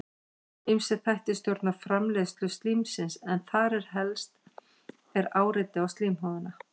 ýmsir þættir stjórna framleiðslu slímsins en þar helst er áreiti á slímhúðina